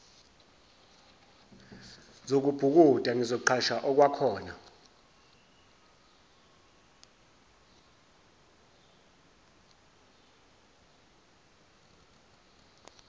zokubhukuda ngizoqhasha okwakhona